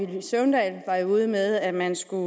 villy søvndal var jo ude med at man skulle